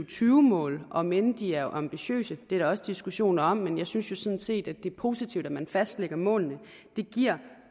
tyve mål om end de er ambitiøse det er der også diskussioner om men jeg synes jo sådan set at det er positivt at man fastlægger målene det giver